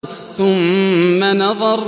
ثُمَّ نَظَرَ